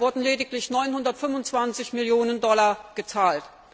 Bisher wurden lediglich 925 Millionen Dollar gezahlt.